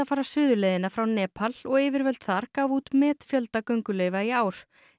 fara suðurleiðina frá Nepal og yfirvöld þar gáfu út metfjölda gönguleyfa í ár